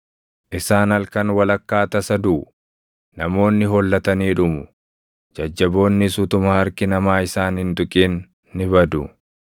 Isaan halkan walakkaa tasa duʼu; namoonni hollatanii dhumu; jajjaboonnis utuma harki namaa isaan hin tuqin ni badu.